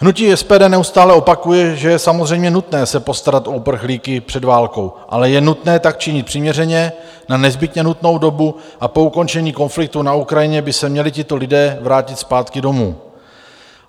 Hnutí SPD neustále opakuje, že je samozřejmě nutné se postarat o uprchlíky před válkou, ale je nutné tak činit přiměřeně, na nezbytně nutnou dobu a po ukončení konfliktu na Ukrajině by se měli tito lidé vrátit zpátky domů.